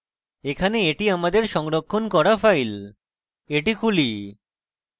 এখানে এটি আমাদের সংরক্ষণ করা file এটি খুলি